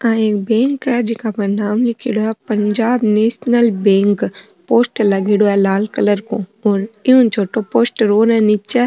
आ एक बैंक है जीका पर नाम लिखेड़ो है पंजाब नेशनल बैंक पोस्टर लागेडा है लाल कलर को और ऊं छोटो पोस्टर और है नीच।